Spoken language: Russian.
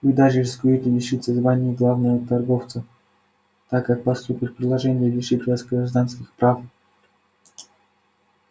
вы даже рискуете лишиться звания главного торговца так как поступят предложения лишить вас гражданских прав